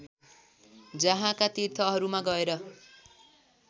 जहाँका तीर्थहरूमा गएर